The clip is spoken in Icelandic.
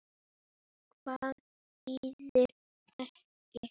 Hvað þýðir ekki?